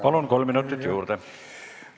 Palun, kolm minutit juurde!